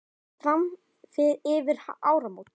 Jafnvel fram yfir áramót.